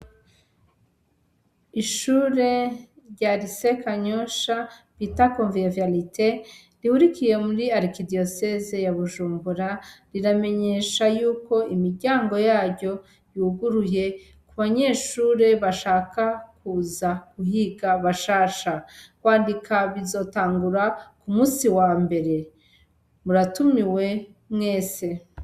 Ishure rya rise kanyosha bita komviviarite rihurikiye muri arkidiyoseze ya bujumbura riramenyesha yuko imiryango yayo yuguruye ku banyeshure bashaka kuza guhiga bashasha wandikab izotangura ku musi wa mbere muratumiwe mwese.